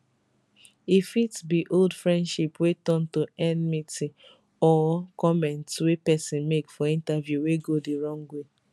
e fit also be old friendship wey turn to enmity or comments wey pesin make for interview wey go di wrong way